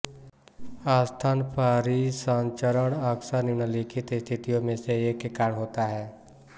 स्तन परिसंचरण अक्सर निम्नलिखित स्थितियों में से एक के कारण होता है